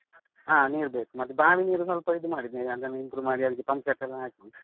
ಹಾ ನೀರು ಬೇಕು, ಮತ್ತೆ ಬಾವಿ ನೀರು ಸ್ವಲ್ಪ ಇದು ಮಾಡಿದ್ದೇವೆ, ಅದನ್ನು improve ಮಾಡಿ ಅದಕ್ಕೆ pump set ಎಲ್ಲ ಹಾಕಿ.